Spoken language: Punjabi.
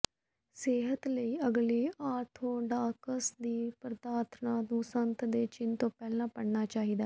ਸਿਹਤ ਲਈ ਅਗਲੀ ਆਰਥੋਡਾਕਸ ਦੀ ਪ੍ਰਾਰਥਨਾ ਨੂੰ ਸੰਤ ਦੇ ਚਿੰਨ੍ਹ ਤੋਂ ਪਹਿਲਾਂ ਪੜ੍ਹਨਾ ਚਾਹੀਦਾ ਹੈ